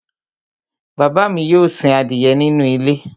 Bàbá mi yóò sin adìyẹ nínú ilé